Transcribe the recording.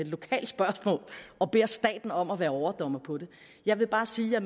lokalt spørgsmål og beder staten om at være overdommer på det jeg vil bare sige at jeg